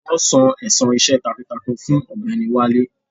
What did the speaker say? Wọn san ẹ̀san iṣẹ́ takuntakun fún ọ̀gbẹ́ni Wale.